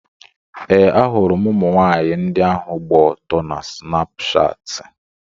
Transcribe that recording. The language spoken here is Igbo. Ee, ahụrụ m ụmụnwaanyị ndị ahụ gba ọtọ na Snapshatị.